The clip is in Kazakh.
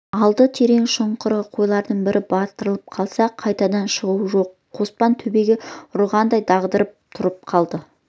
алды терең шұңқыр қойларың бір батырып алса қайтадан шығу жоқ қоспан төбеге ұрғандай дағдарып тұрып қалды